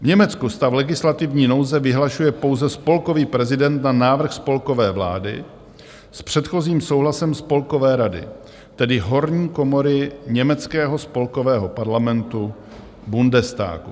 V Německu stav legislativní nouze vyhlašuje pouze spolkový prezident na návrh spolkové vlády s předchozím souhlasem Spolkové rady, tedy horní komory německého spolkového parlamentu Bundestagu.